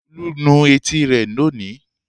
Olú nu etí rẹ̀ lónìí.